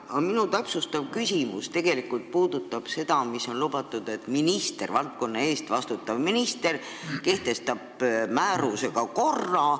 Aga minu täpsustav küsimus puudutab seda, mida on lubatud, et valdkonna eest vastutav minister kehtestab määrusega korra.